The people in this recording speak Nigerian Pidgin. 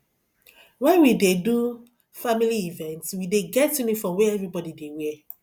wen we dey do family event we dey get uniform wey everybodi dey wear